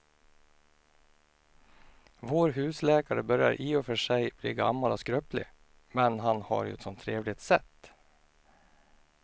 Vår husläkare börjar i och för sig bli gammal och skröplig, men han har ju ett sådant trevligt sätt!